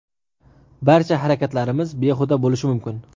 barcha harakatlarimiz behuda bo‘lishi mumkin.